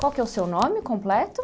Qual que é o seu nome completo?